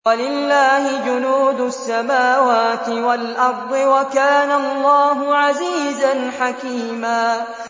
وَلِلَّهِ جُنُودُ السَّمَاوَاتِ وَالْأَرْضِ ۚ وَكَانَ اللَّهُ عَزِيزًا حَكِيمًا